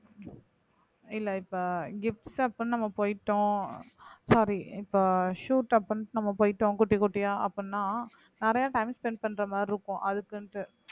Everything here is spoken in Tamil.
இல்ல இப்ப நம்ம போயிட்டோம் sorry இப்ப shoot அப்படின்னு நம்ம போயிட்டோம் குட்டி குட்டியா அப்படின்னா நிறைய time spend பண்ற மாதிரி இருக்கும் அதுக்குன்ட்டு